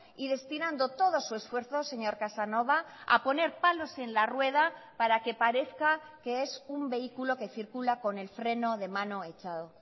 y destinando todo su esfuerzo señor casanova a poner palos en la rueda para que parezca que es un vehículo que circula con el freno de mano echado